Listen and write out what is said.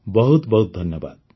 ବହୁତ ବହୁତ ଧନ୍ୟବାଦ